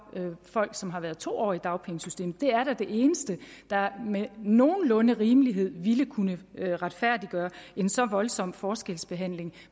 folk som har været to år i dagpengesystemet det er da det eneste der med nogenlunde rimelighed ville kunne retfærdiggøre en så voldsom forskelsbehandling